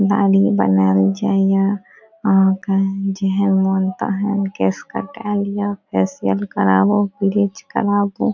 दाढ़ी बनावल जाहिया और ओकर जेहे मनता हैंन केस कटाय ला फेसिअल कराबो ब्लीच कराबो।